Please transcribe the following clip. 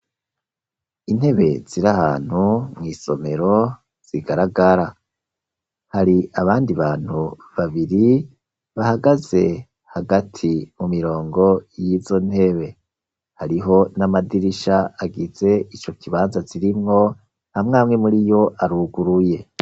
Intebe zir' ahantu mw' isomero zigaragara ,hari abandi bantu babiri bahagaze hagati mu mirongo y'izo ntebe, hariho n'amadirisha agize ico kibanza zirimwo amw'amwe muriyo aruguruye.